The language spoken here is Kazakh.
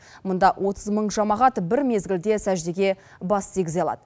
мұнда отыз мың жамағат бір мезгілде сәждеге бас тигізе алады